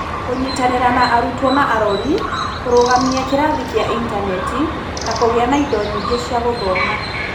Kũnyitanĩra na arutwo na arori, kũrũgamia kĩrathi kĩa intaneti, na kũgĩa na indo nyingĩ cia gũthoma.